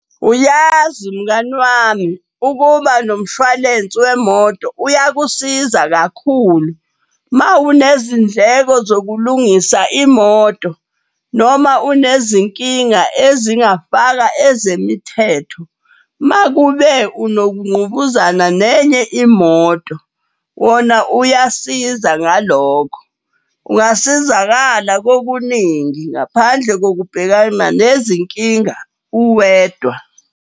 Uyazi mngani wami ukuba nomshwalensi wemoto uyakusiza kakhulu. Mawunezindleko zokulungisa imoto noma unezinkinga ezingafaka ezemithetho. Makube unokunqubuzana nenye imoto, wona uyasiza ngalokho. Ungasizakala kokuningi ngaphandle kokubhekana nezinkinga uwedwa.